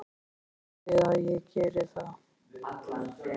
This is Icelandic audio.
Ég býst við að ég geri það.